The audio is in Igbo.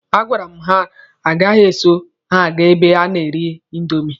A gwara m ha na agaghị eso ha aga ebe a na-ere indomi.